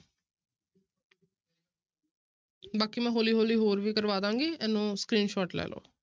ਬਾਕੀ ਮੈਂ ਹੌਲੀ ਹੌਲੀ ਹੋਰ ਵੀ ਕਰਵਾ ਦੇਵਾਂਗੀ ਇਹਨੂੰ screenshot ਲੈ ਲਓ।